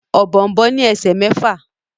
Ọ̀bọ̀ọ̀nbọọ̀n ní esè mẹfa.